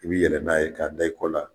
I bi yɛlɛn n'a ye k'a da, i kɔ la